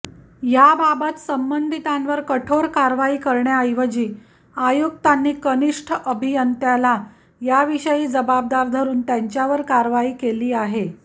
याबाबत संबंधितांवर कठोर कारवाई करण्याऐवजी आयुक्तांनी कनिष्ठ अभियंत्याला याविषयी जबाबदार धरून त्यांच्यावरच कारवाई केली आहे